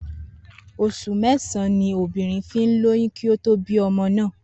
Os̩ù mé̩sàn-án ni obìnrin fi ń lóyún kí ó tó bímo̩